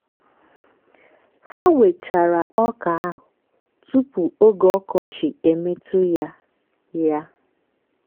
ha wechara ọka ahụ tupu oge ọkọchi emetụ ya. ya.